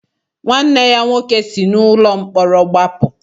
Nwanne ya nwoke si n'ụlọ mkpọrọ gbapụ.